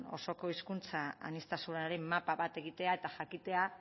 osoko hizkuntza aniztasunaren mapa bat egitea eta jakitea